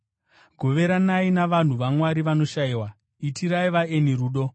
Goveranai navanhu vaMwari vanoshayiwa. Itirai vaeni rudo.